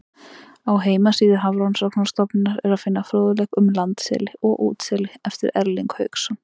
Á heimasíðu Hafrannsóknastofnunarinnar er að finna fróðleik um landseli og útseli eftir Erling Hauksson.